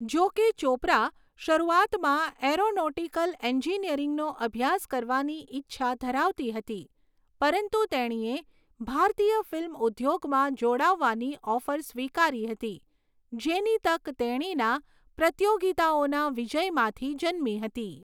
જોકે ચોપરા શરૂઆતમાં એરોનોટિકલ એન્જિનિયરિંગનો અભ્યાસ કરવાની ઈચ્છા ધરાવતી હતી, પરંતુ તેણીએ ભારતીય ફિલ્મ ઉદ્યોગમાં જોડાવાની ઓફર સ્વીકારી હતી, જેની તક તેણીના પ્રતીયોગીતાઓના વિજયમાંથી જન્મી હતી.